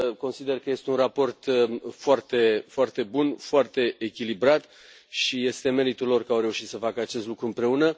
Consider că este un raport foarte, foarte bun, foarte echilibrat și este meritul lor că au reușit să facă acest lucru împreună.